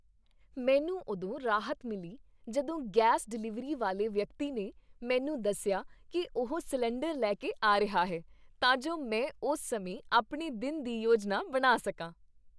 ਮੈਨੂੰ ਉਦੋਂ ਰਾਹਤ ਮਿਲੀ ਜਦੋਂ ਗੈਸ ਡਿਲਿਵਰੀ ਵਾਲੇ ਵਿਅਕਤੀ ਨੇ ਮੈਨੂੰ ਦੱਸਿਆ ਕਿ ਉਹ ਸਿਲੰਡਰ ਲੈ ਕੇ ਆ ਰਿਹਾ ਹੈ, ਤਾਂ ਜੋ ਮੈਂ ਉਸ ਸਮੇਂ ਆਪਣੇ ਦਿਨ ਦੀ ਯੋਜਨਾ ਬਣਾ ਸਕਾਂ।